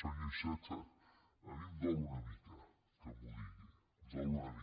senyor iceta a mi em dol una mica que m’ho digui em dol